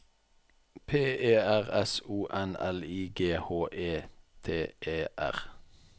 P E R S O N L I G H E T E R